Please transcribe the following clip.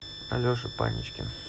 алеша паничкин